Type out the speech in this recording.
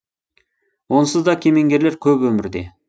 онсыз да кемеңгерлер көп өмірде